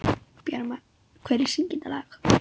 Bjarmar, hver syngur þetta lag?